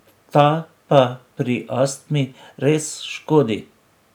Ta pa pri astmi res škodi.